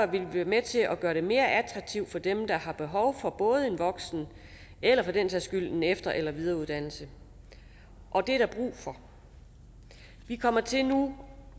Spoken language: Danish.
vi være med til at gøre det mere attraktivt for dem der har behov for både en voksen eller for den sags skyld en efter eller videreuddannelse og det er der brug for vi kommer til nu